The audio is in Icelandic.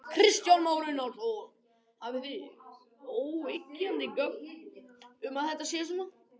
Kristján Már Unnarsson: Hafið þið óyggjandi gögn um að þetta sé svona?